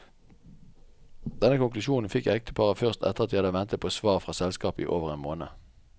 Denne konklusjonen fikk ekteparet først etter at de hadde ventet på svar fra selskapet i over en måned.